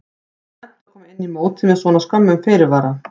Er slæmt að koma inn í mótið með svona skömmum fyrirvara?